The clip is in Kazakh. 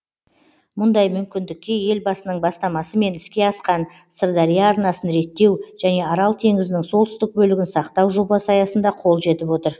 мұндай мүмкіндікке елбасының бастамасымен іске асқан сырдария арнасын реттеу және арал теңізінің солтүстік бөлігін сақтау жобасы аясында қол жетіп отыр